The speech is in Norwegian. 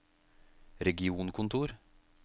regionkontor